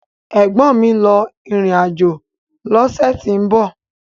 Ẹ̀gbọ́n mi ń lọ ìrìn àjò lọ́sẹ̀ tí ń bọ̀